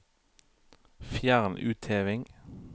Fjern utheving